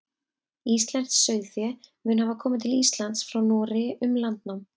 íslenskt sauðfé mun hafa komið til íslands frá noregi um landnám